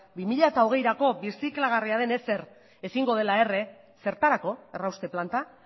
bi mila hogeiko birziklagarria den ezer ezingo dela erre zertarako errauste planta